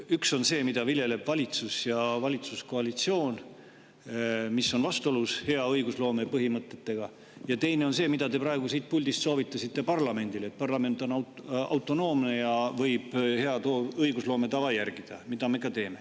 Üks on see, mida viljeleb valitsus ja valitsuskoalitsioon, mis on vastuolus hea õigusloome põhimõtetega, ja teine on see, mida te praegu siit puldist soovitasite parlamendile, et parlament on autonoomne ja võib hea õigusloome tava järgida, mida me ka teeme.